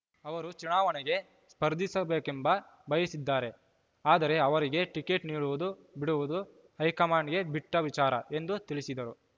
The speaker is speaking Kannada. ಅವರು ಚುನಾವಣೆಗೆ ಸ್ಪರ್ಧಿಸಬೇಕೆಂಬ ಬಯಸಿದ್ದಾರೆ ಆದರೆ ಅವರಿಗೆ ಟಿಕೆಟ್‌ ನೀಡುವುದು ಬಿಡುವುದು ಹೈಕಮಾಂಡ್‌ಗೆ ಬಿಟ್ಟವಿಚಾರ ಎಂದು ತಿಳಿಸಿದರು